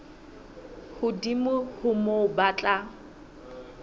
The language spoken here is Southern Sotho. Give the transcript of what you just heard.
hodimo ho moo ba tla